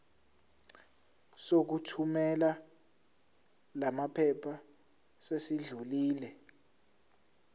sokuthumela lamaphepha sesidlulile